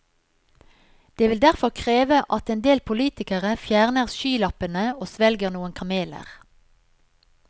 Det vil derfor kreve at en del politikere fjerner skylappene og svelger noen kameler.